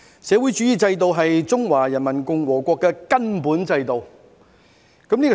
"社會主義制度是中華人民共和國的根本制度。